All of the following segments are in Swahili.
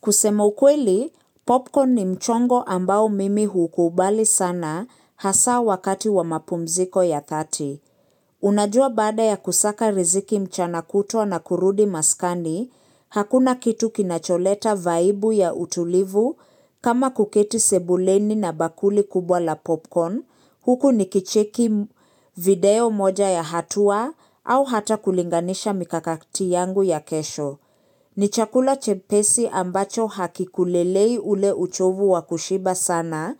Kusema ukweli, popcorn ni mchongo ambao mimi hukuubali sana hasa wakati wa mapumziko ya thati. Unajua baada ya kusaka riziki mchana kutwa na kurudi maskani, hakuna kitu kinacholeta vaibu ya utulivu kama kuketi sebuleni na bakuli kubwa la popcorn. Huku ni kicheki video moja ya hatua au hata kulinganisha mikakati yangu ya kesho. Ni chakula chepesi ambacho hakikulelei ule uchovu wakushiba sana,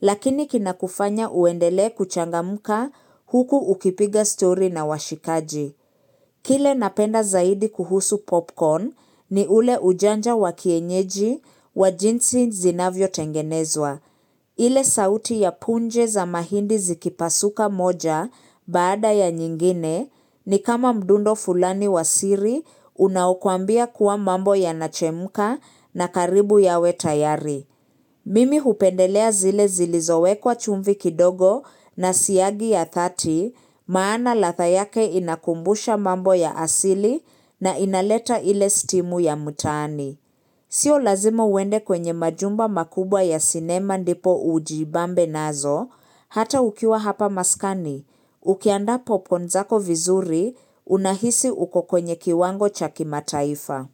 lakini kinakufanya uendele kuchangamka huku ukipiga stori na washikaji. Kile napenda zaidi kuhusu popcorn ni ule ujanja wa kienyeji wa jinsi zinavyotengenezwa. Ile sauti ya punje za mahindi zikipasuka moja baada ya nyingine ni kama mdundo fulani wa siri unaokwambia kuwa mambo yanachemka na karibu yawe tayari. Mimi hupendelea zile zilizowe kwa chumbi kidogo na siagi ya thati, maana ladha yake inakumbusha mambo ya asili na inaleta ile stimu ya mtaani. Sio lazima uende kwenye majumba makubwa ya sinema ndipo ujibambe nazo, hata ukiwa hapa maskani. Ukiandaa popcorn zako vizuri, unahisi uko kwenye kiwango chaki mataifa.